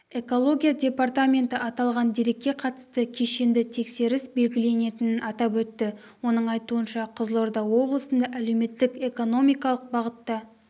экология департаменті аталған дерекке қатысты кешенді тексеріс белгіленетінін атап өтті оның айтуынша қызылорда облысында әлеуметтік-экономикалық бағытта